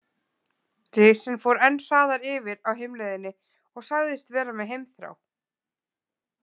Risinn fór enn hraðar yfir á heimleiðinni og sagðist vera með heimþrá.